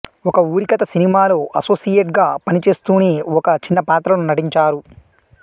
ఒకఊరికథ సినిమాలో అసోసియేట్ గా పనిచేస్తూనే ఒక చిన్నపాత్రలో నటించారు